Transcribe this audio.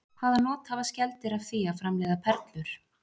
Hvaða not hafa skeldýr af því að framleiða perlur?